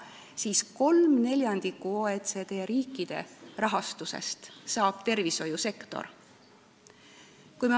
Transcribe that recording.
Tervishoiusektor saab kolm neljandikku OECD riikide keskmisest rahastusest.